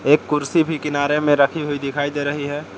एक कुर्सी भी किनारे में रखी हुई दिखाई दे रही है।